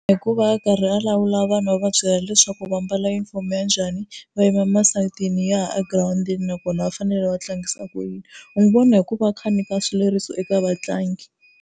Hikuva a karhi a lawula vanhu a va byela leswaku va mbala junifomo ya njhani va yima masayitini yahi a girawundini, nakona va fanele va tlangisa ku yini. U n'wi vona hi ku va a kha a nyika swileriso eka vatlangi.